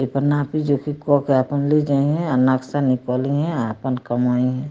एकर नापी जोखि क के आपन ले जइहें आ नक्शा निकलिहें आ आपन कमइहें।